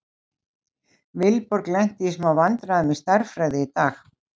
Vilborg lenti í smá vandræðum í stærðfræði í dag.